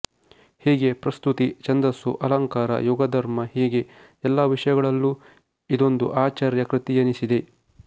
ಹೀಗೆ ಪ್ರಸ್ತುತಿ ಛಂದಸ್ಸು ಅಲಂಕಾರ ಯುಗ ಧರ್ಮ ಹೀಗೆ ಎಲ್ಲಾ ವಿಷಯಗಳಲ್ಲೂ ಇದೊಂದು ಆಚಾರ್ಯ ಕೃತಿಯೆನಿಸಿದೆ